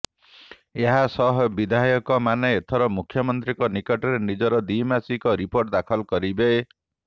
ଏହାସହ ବିଧାୟକମାନେ ଏଥର ମୁଖ୍ୟମନ୍ତ୍ରୀଙ୍କ ନିକଟରେ ନିଜର ଦ୍ୱିମାସିକ ରିପୋର୍ଟ ଦାଖଲ କରିବେ